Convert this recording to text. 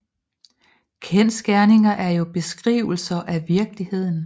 Kendsgerninger er jo beskrivelser af virkeligheden